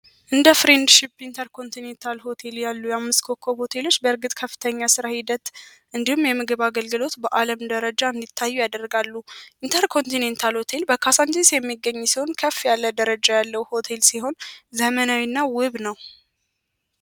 እንደ ፍሬንድ ሺፕ ኢንተር ኮንቲኔታል ሆቴል ያሉ የአምስኮኮቴ ልጅ በእርግጥ ከፍተኛ ስራ ሂደት እንዲሁም የምግብ አገልግሎት በዓለም ደረጃ ያደርጋሉ ሆቴል በካሳ የሚገኝ ሰውን ከፍ ያለ ደረጃ ያለው ሆቴል ሲሆን ዘመናዊና ውብ ነዉ